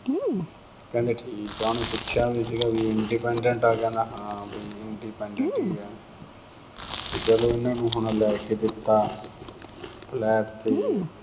ਕਹਿੰਦਾ ਠੀਕ ਏ। ਉਹਨੇ ਪੁੱਛਿਆ ਵੀ ਸੀਗਾ ਵੀ independent ਏ। ਕਹਿੰਦਾ ਹਾਂ ਵੀ independent ਈ ਏ। ਤੇ ਜਦੋਂ ਉਹਨੇ ਹੁਣ ਲੈ ਕੇ ਦਿੱਤਾ flat ਤੇ